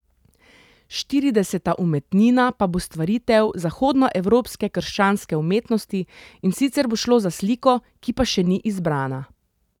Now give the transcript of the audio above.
Štirideseta umetnina pa bo stvaritev zahodnoevropske krščanske umetnosti, in sicer bo šlo za sliko, ki pa še ni izbrana.